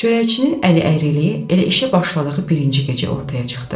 Çörəkçinin əli əyriliyi elə işə başladığı birinci gecə ortaya çıxdı.